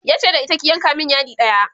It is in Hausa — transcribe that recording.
yace da ita ki "yanka min yadi ɗaya!"